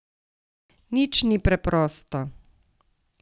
Nič ni preprosto.